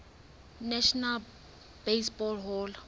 national baseball hall